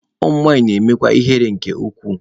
Ụmụ nwanyị na-emekwa ihere nke ukwuu.